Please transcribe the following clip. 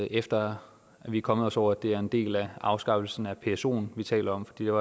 efter at vi er kommet os over at det er en del af afskaffelsen af psoen vi taler om for det